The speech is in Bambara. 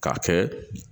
K'a kɛ